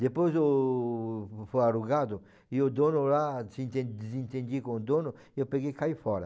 Depois o fui alugado e o dono lá, desenten desentendi com o dono e eu peguei e caí fora.